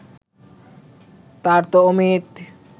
তার তো অমিত